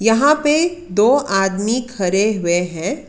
यहां पे दो आदमी खड़े हुए हैं।